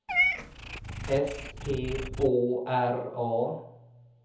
S P Å R A